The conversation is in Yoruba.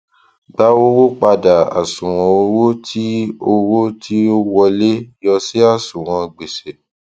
gba owó padà àṣùwọn owó tí ó owó tí ó wọlé yọ sí àṣùwọn gbèsè